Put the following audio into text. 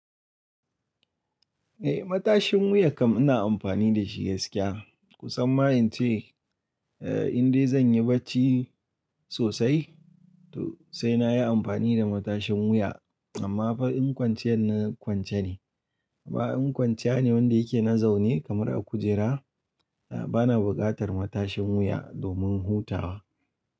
Eh, matashin wuya kam ina amfani da shi gaskiya. Kusan ma in ce, in dai zan yi bacci sosai, to sai na yi amfani da matashin wuya. Amma fa inkwanciyar na kwance ne. Ba'in kwanciya ne wanda yake na zaune kamar a kujera. Ba na buƙatar matashin wuya domin hutawa.